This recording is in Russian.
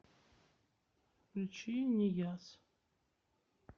включи нияз